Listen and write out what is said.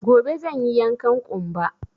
Gobe zan yi yankan ƙumba